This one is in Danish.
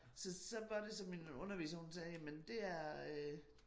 Så så var det så min underviser hun sagde men det er øh